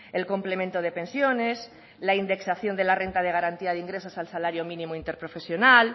el complemento de pensiones la indexación de la renta de garantía de ingresos al salario mínimo interprofesional